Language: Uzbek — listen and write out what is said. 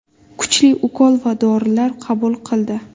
Kuchli ukol va dorilar qabul qildi.